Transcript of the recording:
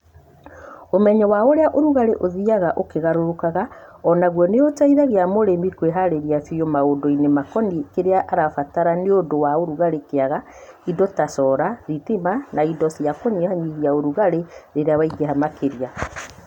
Umenyo wa ũrĩa ũrugarĩ ũthiaga ũkĩgarũrũkaga o naguo nĩũteithagia mũrĩmi kwĩharĩria biũ maũndũ-inĩ makoniĩ kĩrĩa arabatara nĩũndũ wa ũrugarĩ kĩaga indo ta cora, thitima na indo cia kũnyihanyihia ũrugarĩ rĩrĩa waingĩha makĩria.